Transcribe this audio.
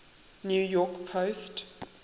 new york post